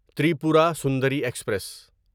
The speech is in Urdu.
تریپورا سندری ایکسپریس